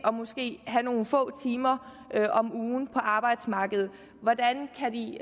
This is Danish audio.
have nogle få timer om ugen på arbejdsmarkedet hvordan kan de